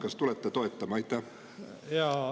Kas tulete toetama?